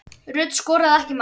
Rut skoraði ekki mark.